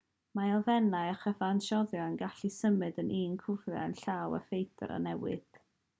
mae elfennau a chyfansoddion yn gallu symud o un cyflwr i'r llall a pheidio â newid